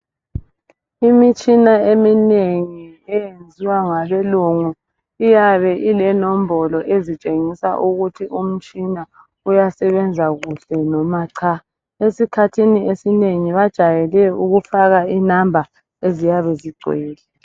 Imitshina eminengi eyenziwa ngabelungu iyabe ilenombolo eziyabe zitshengisa ukuthi umtshina uyasebenza kuhle, loba cha. Izikhathi ezinengi, bajayele, ukufaka inumber eziyabe zigcwele.